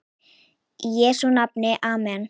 Í Jesú nafni amen.